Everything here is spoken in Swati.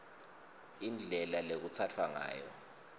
indlela lekutsatfwa ngayo